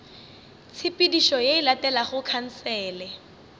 tshepedišo ye e latelago khansele